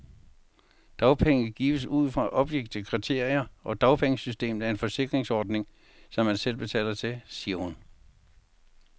Dagpenge gives ud fra objektive kriterier, og dagpengesystemet er en forsikringsordning, som man selv betaler til, siger hun.